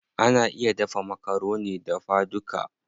Ana iya dafa makaroni dafa duka.